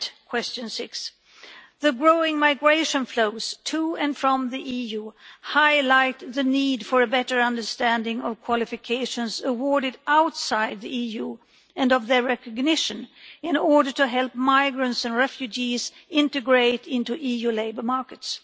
Question 6 the growing migration flows to and from the EU highlight the need for a better understanding of qualifications awarded outside the EU and of their recognition in order to help migrants and refugees integrate into EU labour markets.